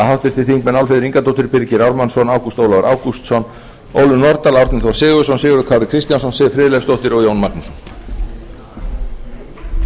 háttvirtir þingmenn álfheiður ingadóttir birgir ármannsson ágúst ólafur ágústsson ólöf nordal árni þór sigurðsson sigurður kári kristjánsson siv friðleifsdóttir og jón magnússon